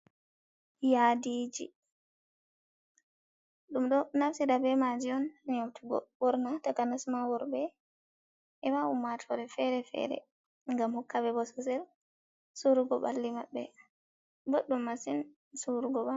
Yaadiji, ɗum ɗo naftira be maji un neutugo ɓorna, takanas ma worɓe, e ma ummatore fere-fere ngam hokkaɓe bo sosel surugo ɓalli maɓɓe boɗum masin surugo.